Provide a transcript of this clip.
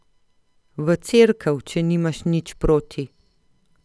V cerkev, če nimaš nič proti!